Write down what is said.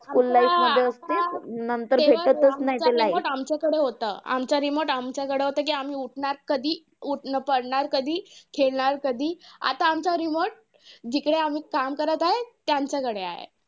School life मध्ये होतं. नंतर भेटतंचं नाही आमचा remote आमच्याकडे होतं कि आम्ही उठणार कधी, उठ अं पडणार कधी खेळणार कधी, आता आमचा remote जिकडे आम्ही काम करत आहे, त्यांच्याकडे आहे.